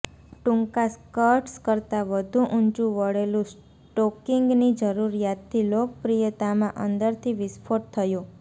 ટૂંકા સ્કર્ટ્સ કરતા વધુ ઊંચું વળેલું સ્ટોકિંગની જરૂરિયાતથી લોકપ્રિયતામાં અંદરથી વિસ્ફોટ થયો